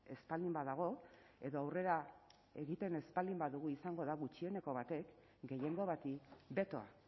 ez baldin badago edo aurrera egiten ez baldin badugu izango da gutxieneko batek gehiengo bati betoa